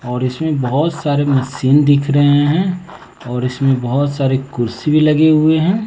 और इसमें बहोत सारे मशीन दिख रहे हैं और इसमें बहोत सारी कुर्सी भी लगे हुए हैं।